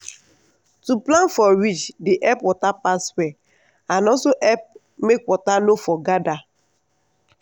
cassava stick must strong stick must strong gidigba for ground and straight.